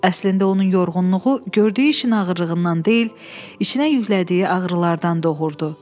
Əslində onun yorğunluğu gördüyü işin ağırlığından deyil, içinə yüklədiyi ağrılardan doğurdu.